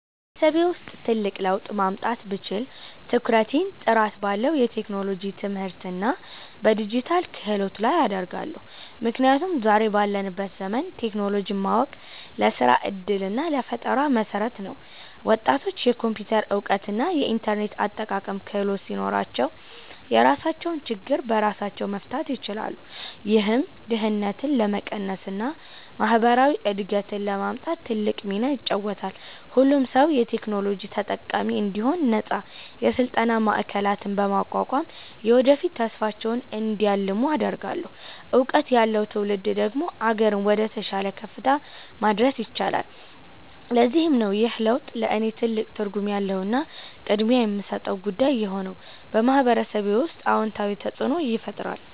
በማህበረሰቤ ውስጥ ትልቅ ለውጥ ማምጣት ብችል፣ ትኩረቴን ጥራት ባለው የቴክኖሎጂ ትምህርትና በዲጂታል ክህሎት ላይ አደርጋለሁ። ምክንያቱም ዛሬ ባለንበት ዘመን ቴክኖሎጂን ማወቅ ለስራ ዕድልና ለፈጠራ መሠረት ነው። ወጣቶች የኮምፒውተር እውቀትና የኢንተርኔት አጠቃቀም ክህሎት ሲኖራቸው፣ የራሳቸውን ችግር በራሳቸው መፍታት ይችላሉ። ይህም ድህነትን ለመቀነስና ማህበራዊ እድገትን ለማምጣት ትልቅ ሚና ይጫወታል። ሁሉም ሰው የቴክኖሎጂ ተጠቃሚ እንዲሆን ነፃ የስልጠና ማዕከላትን በማቋቋም፣ የወደፊት ተስፋቸውን እንዲያልሙ አደርጋለሁ። እውቀት ያለው ትውልድ ደግሞ አገርን ወደተሻለ ከፍታ ማድረስ ይችላል። ለዚህም ነው ይህ ለውጥ ለእኔ ትልቅ ትርጉም ያለውና ቅድሚያ የምሰጠው ጉዳይ የሆነው፤ በማህበረሰቤ ውስጥም አዎንታዊ ተፅእኖን ይፈጥራል።